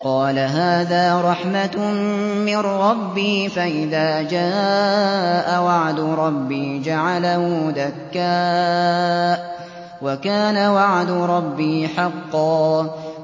قَالَ هَٰذَا رَحْمَةٌ مِّن رَّبِّي ۖ فَإِذَا جَاءَ وَعْدُ رَبِّي جَعَلَهُ دَكَّاءَ ۖ وَكَانَ وَعْدُ رَبِّي حَقًّا